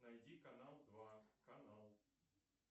найди канал два канал